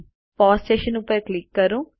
pause session ઉપર click કરો